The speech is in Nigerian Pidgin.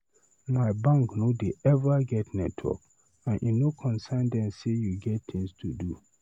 My bank no dey eva get network and e no concern dem sey you get tins to do.